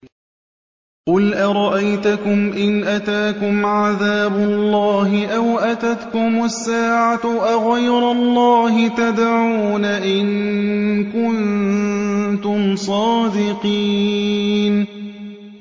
قُلْ أَرَأَيْتَكُمْ إِنْ أَتَاكُمْ عَذَابُ اللَّهِ أَوْ أَتَتْكُمُ السَّاعَةُ أَغَيْرَ اللَّهِ تَدْعُونَ إِن كُنتُمْ صَادِقِينَ